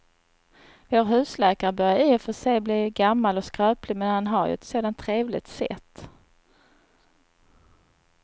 Vår husläkare börjar i och för sig bli gammal och skröplig, men han har ju ett sådant trevligt sätt!